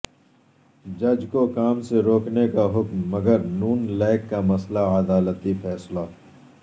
جج کو کام سے روکنے کا حکم مگر ن لیگ کا مسئلہ عدالتی فیصلہ